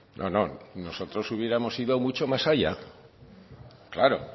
no no nosotros hubiéramos ido mucho más allá claro